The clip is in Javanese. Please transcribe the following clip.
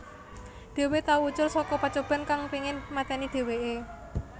Dhewe tau ucul saka pacoban kang pengin mateni dheweke